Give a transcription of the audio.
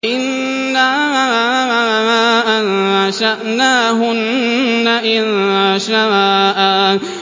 إِنَّا أَنشَأْنَاهُنَّ إِنشَاءً